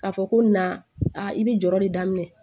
K'a fɔ ko na i bɛ jɔrɔ de daminɛ